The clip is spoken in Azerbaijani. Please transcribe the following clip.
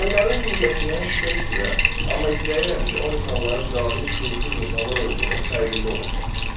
Onların niyyətinə şübhə etmirəm, amma istəyirəm ki, o insanların cahil, şüursuz insanlar olduğunun fərqində olasan.